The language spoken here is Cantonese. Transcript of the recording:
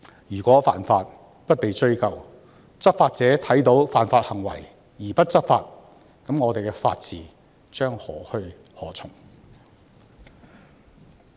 如果犯法不被追究，執法者看到犯法行為而不執法，那麼我們的法治將何去何從？